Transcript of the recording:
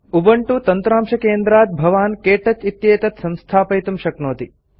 Ubuntu तन्त्रांशकेन्द्रात् भवान् KTouch इत्येतत् संस्थापयितुं शक्नोति